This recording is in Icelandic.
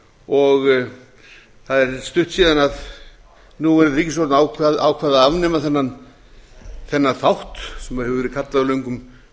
og það er stutt síðan núverandi ríkisstjórn að afnema þennan þátt sem hefur verið kallaður löngum